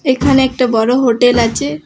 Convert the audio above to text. এখানে একটা বড় হোটেল আছে।